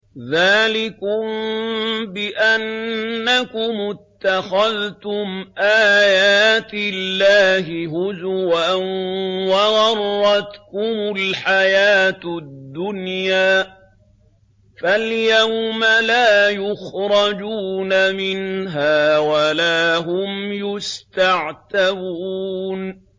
ذَٰلِكُم بِأَنَّكُمُ اتَّخَذْتُمْ آيَاتِ اللَّهِ هُزُوًا وَغَرَّتْكُمُ الْحَيَاةُ الدُّنْيَا ۚ فَالْيَوْمَ لَا يُخْرَجُونَ مِنْهَا وَلَا هُمْ يُسْتَعْتَبُونَ